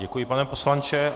Děkuji, pane poslanče.